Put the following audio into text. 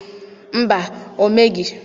Mba, o meghị.